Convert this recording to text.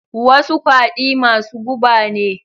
Wasu kwadi masu guba ne.